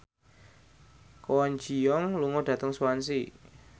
Kwon Ji Yong lunga dhateng Swansea